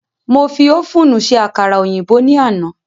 Mo fi ófùnù se àkàrà òyìnbó ní àná